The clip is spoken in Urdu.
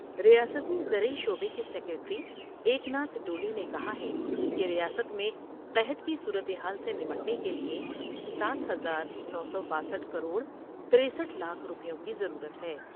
ریاستی زرعی شعبے کے سیکریٹری ایکناتھ ڈولے نے کہا ہے کہ ریاست میں قحط کی صورتحال سے نمٹنے کیلئے ساتھ ہزار نو سو باسٹھ کروڑ ترسٹھ لاکھ روپیوں کی ضرورت ہے ۔